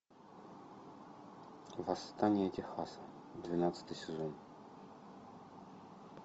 восстание техаса двенадцатый сезон